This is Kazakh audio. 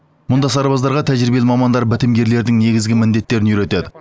мұнда сарбаздарға тәжірибелі мамандар бітімгерлердің негізгі міндеттерін үйретеді